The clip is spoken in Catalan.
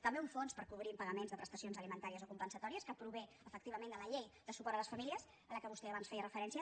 també un fons per co·brir impagaments de prestacions alimentàries o com·pensatòries que prové efectivament de la llei de su·port a les famílies a la qual vostè abans feia referència